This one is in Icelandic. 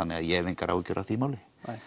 þannig að ég hef engar áhyggjur af því máli